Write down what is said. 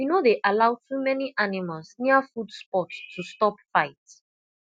we no dey allow too many animals near food spot to stop fight